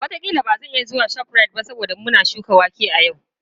Wataƙila ba zan iya zuwa ShopRite ba saboda muna shuka wake a yau.